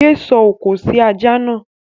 Yé sọ òkò sí ajá náà!